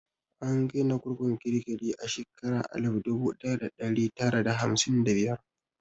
An gina kurkukun kirikiri a shekara alif dubu ɗaya da ɗari tara da hamsin da biyar.